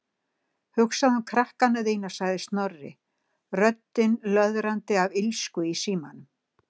Hugsaðu um krakkana þína- sagði Snorri, röddin löðrandi af illsku í símanum.